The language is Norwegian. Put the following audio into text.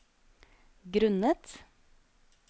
grunnet